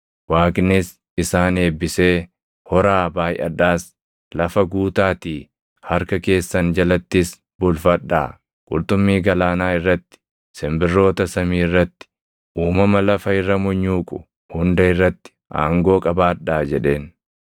Waaqnis isaan eebbisee, “Horaa, baayʼadhaas; lafa guutaatii harka keessan jalattis bulfadhaa. Qurxummii galaanaa irratti, simbirroota samii irratti, uumama lafa irra munyuuqu hunda irratti aangoo qabaadhaa” jedheen.